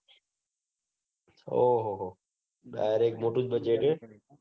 ઓહોહો direct મોટું budget હે